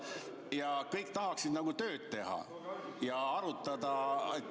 Ja kõik tahaksid nagu tööd teha ja arutada.